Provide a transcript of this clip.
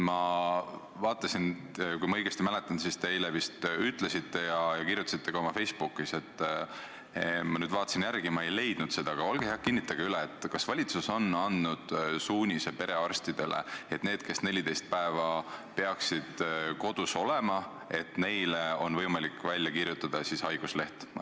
Kui ma õigesti mäletan, siis te eile vist kirjutasite oma Facebookis – ma praegu vaatasin järele ja ei leidnud seda –, et valitsus on andnud perearstidele suunise, et neile, kes 14 päeva peaksid kodus olema, on võimalik välja kirjutada haigusleht.